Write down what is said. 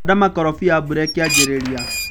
handa mũkorofia mbura ĩkĩanjĩrĩria.